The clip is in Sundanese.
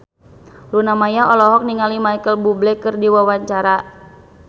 Luna Maya olohok ningali Micheal Bubble keur diwawancara